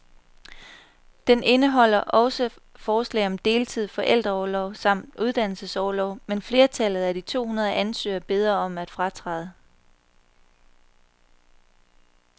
Den indeholder også forslag om deltid, forældreorlov samt uddannelsesorlov, men flertallet af de to hundrede ansøgere beder om at fratræde.